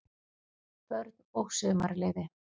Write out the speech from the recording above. BÖRN OG SUMARLEYFI